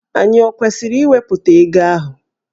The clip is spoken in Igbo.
Ànyị ọ kwesịrị iwepụta ego ahụ?